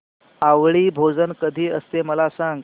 आवळी भोजन कधी असते मला सांग